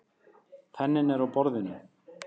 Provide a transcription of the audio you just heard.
Penninn er á borðinu.